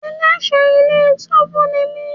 Ẹlẹ́ṣọ̀ọ́ ilé túbú ni mí.